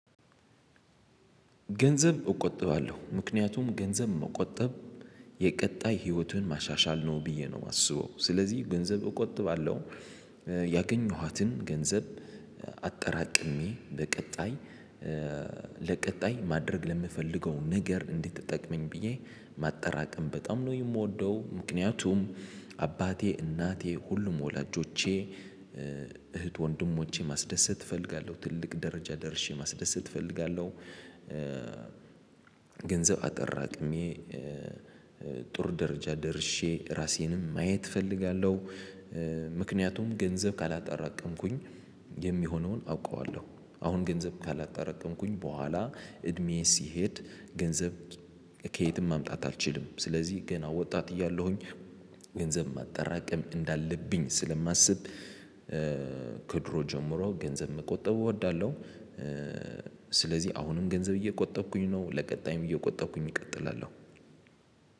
ገንዘብ እቆጥባለሁ ምክንያቱም ገንዘብ መቆጠብ የቀጣይ ህይወትን ማሻሻል ነው ብዬ ነው የማስበው ስለዚህ ገንዘብ እቆጥባለሁ። ያገኘኋትን ገንዘብ አጠራቅሜ በቀጣይ ለቀጣይ ማድረግ ለምፈልገው ነገር እንድትጠቅመኝ ብዬ ማጠራቀም በጣም ነው የምወደው። ምክንያቱም አባቴ እናቴ ሁሉም ወላጆቼ እህት ወንድሞቼ ማስደሰት እፈልጋለሁ ትልቅ ደረጃ ደርሼ ማስደሰት እፈልጋለሁ። ገንዘብ አጠራቅሜ ጥሩ ደረጃ ደርሼ ራሴንም ማየት እፈልጋለሁ። ምክንያቱም ገንዘብ ካላጠራቀምኩኝ የሚሆነውን አውቀዋለሁ አሁን ገንዘብ ካላጣረቀምኩኝ በኋላ እድሜዬ ሲሄድ ገንዘብ ከየትም ማምጣት አልችልም ስለዚህ ገና ወጣት እያለሁኝ ገንዘብ ማጠራቀም እንዳለብኝ ስለማስብ። ከድሮ ጀምሮ ገንዘብ መቆጠብ እወዳለሁ። ስለዚህ አሁንም ገንዘብ እየቆጠብኩኝ ነው ለቀጣይም እየቆጠብኩኝ እቀጥላለሁ።